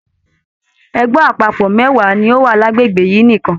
Ẹgbẹ àpapọ mẹwa ní ọ wá l'agbegbe yìí nìkan.